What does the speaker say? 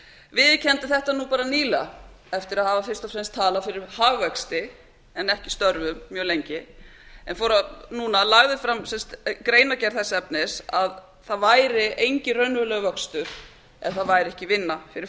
viðurkenndi þetta bara nýlega eftir að hafa fyrst og fram talað fyrir hagvexti en ekki störfum mjög lengi en lagði fram greinargerð þess efnis að það væri enginn raunverulegur vöxtur ef það væri engin vinna fyrir